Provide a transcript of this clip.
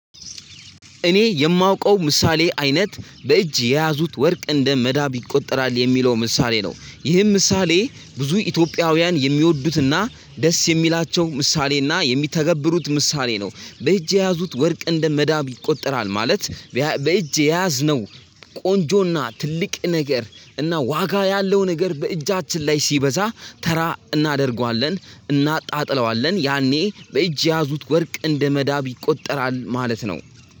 እኔ የማውቀው ምሳሌ አይነት በእጅ የያዙት ወርቅ እንደ መዳብ ይቆጠራል የሚለው ምሳሌ ነው። ይህም ምሳሌ ብዙ ኢትዮጵያውያን የሚወዱትና ደስ የሚላቸው ምሳሌና የሚተገብሩት ምሳሌ ነው። በእጅ የያዙት ወርቅ እንደ መዳብ ይቆጠራል ማለት በእጅ የያዝ ነው። ቆንጆና ትልቅ ነገር እና ዋጋ ያለው ነገር በእጃችን ላይ ሲበዛ ተራ እናደርገዋለን። እናጣጥለዋለን ያኔ በእጅ የያዙት ወርቅ እንደመዳብ ይቆጠራል ማለት ነው።